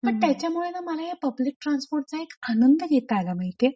पण त्याच्यामुळेना मला हे पब्लिक ट्रान्सपोर्ट ट्रान्सपोर्टच एक आनंद घेता आला माहितीये?